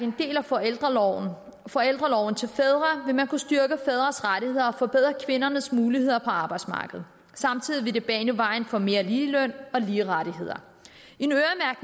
en del af forældreorloven forældreorloven til fædre vil man kunne styrke fædres rettigheder og forbedre kvindernes muligheder på arbejdsmarkedet samtidig vil det bane vejen for mere ligeløn og lige rettigheder